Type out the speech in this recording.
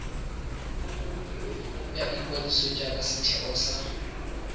ya ikwadiso jaaka setheo sa